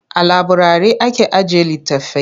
A laburari ake ajiye litattafai.